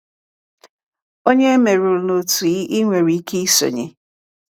Ònye e merụrụ na otu ị ị nwere ike isonye.